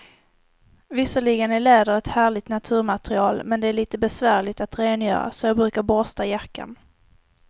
Visserligen är läder ett härligt naturmaterial, men det är lite besvärligt att rengöra, så jag brukar borsta jackan.